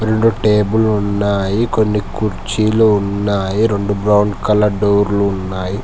రెండు టేబుల్ ఉన్నాయి కొన్ని కుర్చీలు ఉన్నాయి రెండు బ్రౌన్ కలర్ డోర్లు ఉన్నాయి.